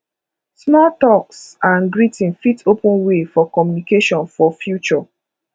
small talks and greeting fit open way for communication for future